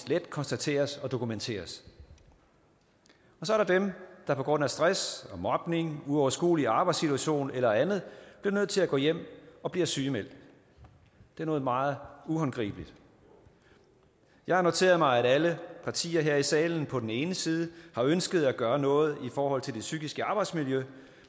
let konstateres og dokumenteres så er der dem der på grund af stress og mobning en uoverskuelig arbejdssituation eller andet bliver nødt til at gå hjem og bliver sygemeldt det er noget meget uhåndgribeligt jeg har noteret mig at alle partier her i salen på den ene side har ønsket at gøre noget i forhold til det psykiske arbejdsmiljø